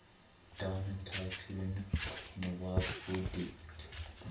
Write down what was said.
diamond tycoon nwabudike